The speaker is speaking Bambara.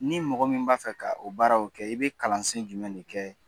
Ni mɔgɔ min b'a fɛ ka o baaraw kɛ i bɛ kalansen jumɛnni kɛ